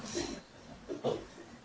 Merci monsieur le président.